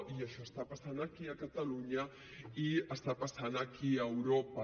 i això està passant aquí a catalunya i està passant aquí a europa